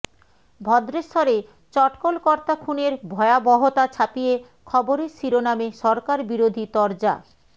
ভদ্রেশ্বরে চটকল কর্তা খুনের ভয়াবহতা ছাপিয়ে খবরের শিরোনামে সরকার বিরোধী তরজা